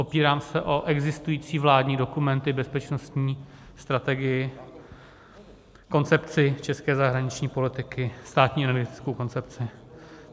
Opírám se o existující vládní dokumenty, Bezpečnostní strategii, Koncepci české zahraniční politiky, Státní energetickou koncepci.